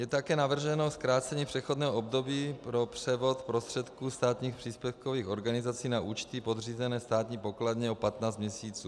Je také navrženo zkrácení přechodného období pro převod prostředků státních příspěvkových organizací na účty podřízené státní pokladně o 15 měsíců.